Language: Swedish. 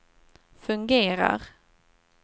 fungerar